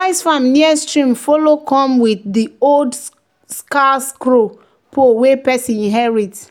"di rice farm near stream follow come with di old scarecrow pole wey person inherit."